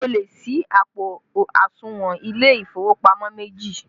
O lè sí àpò àsùnwọ̀n ilé ìfowópamọ́ méjì